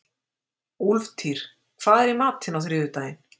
Úlftýr, hvað er í matinn á þriðjudaginn?